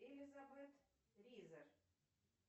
элизабет ризер